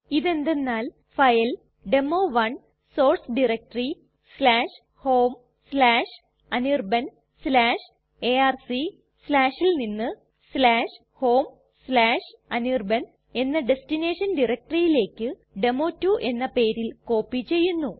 ഇത് എന്തെന്നാൽ file demo one source directory homeanirbanarc ൽ നിന്ന് homeanirban എന്ന ഡെസ്റ്റിനേഷൻ directoryലേക്ക് ഡെമോ2 എന്ന പേരിൽ കോപ്പി ചെയ്യുന്നു